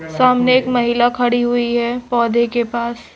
सामने एक महिला खड़ी हुई है पौधे के पास--